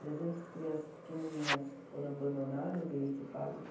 Trezentas crianças pequenininhas que foram abandonadas, e esse padre que...